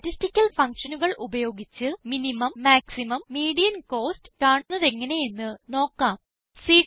statistical functionകൾ ഉപയോഗിച്ച് minimum maximum median costs കാണുന്നത് എങ്ങനെ എന്ന് നോക്കാം